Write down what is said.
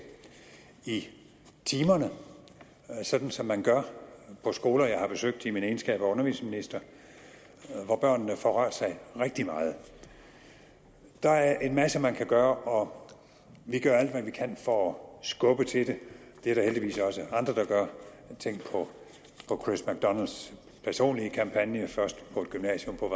i timerne sådan som man gør på skoler jeg har besøgt i min egenskab af undervisningsminister hvor børnene får rørt sig rigtig meget der er en masse man kan gøre og vi gør alt hvad vi kan for at skubbe til det det er der heldigvis også andre der gør tænk på chris macdonalds personlige kampagne først på et gymnasium på